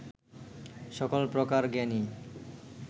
সকল প্রকার জ্ঞানই